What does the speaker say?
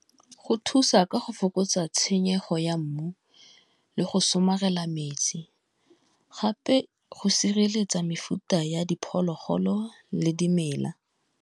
Go thusa ka go fokotsa tshenyego ya mmu, le go somarela metsi gape, go sireletsa mefuta ya diphologolo le dimela.